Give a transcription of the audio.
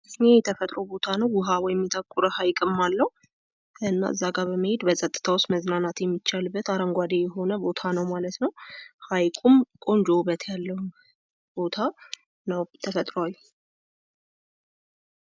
ይሄ የተፈጥሮ ቦታ ነው ውሃ ወይም የታቆረ ሃይቅም አለው። እና እዛጋ በመሄ በጸጥታ መዘናናት የሚቻልበት አረንጓዴ የሆነ ቦታ ነው ማለት ነው። ሃይቁም ቆንጆ ዉበት ያለው ቦታ ነው ። ተፈትሯዊ።